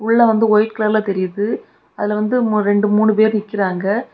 உள்ள வந்து வைட் கலர்ல தெரியுது அதுல வந்து ரெண்டு மூணு பேர் நிக்கிறாங்க.